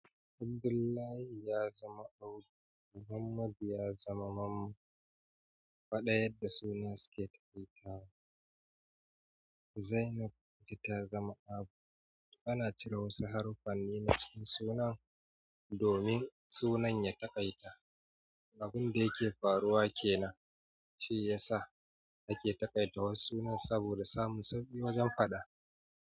Abdullahi ya zama Abu, Muhammad ya zama Mammu. Faɗa yadda sunna suke takaitawa. Zainab ita ta zama Abu. Ana cire wasu haruffanni na cikin sunan domin sunan ya taƙaita. Abun da yake faruwa kenan, shi ya sa ake taƙaitawa sunan saboda samun sauki wajen faɗa.